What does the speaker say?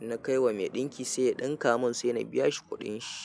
in na kai wa mai ɗinki sai ya ɗinka mun sai na biya shi kuɗin shi.